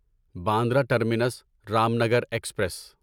Bandra terminus Ramnagar express